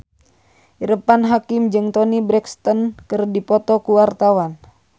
Irfan Hakim jeung Toni Brexton keur dipoto ku wartawan